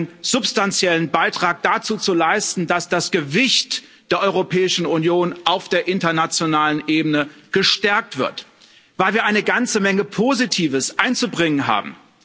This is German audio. Einen substanziellen Beitrag dazu zu leisten, dass das Gewicht der Europäischen Union auf der internationalen Ebene gestärkt wird, weil wir eine ganze Menge Positives einzubringen haben.